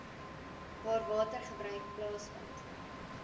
waar watergebruik plaasvind